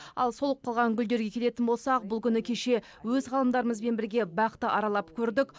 ал солып қалған гүлдерге келетін болсақ бұл күні кеше өз ғалымдарымызбен бірге бақты аралап көрдік